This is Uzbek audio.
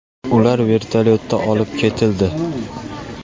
Ular vertolyotda olib ketildi.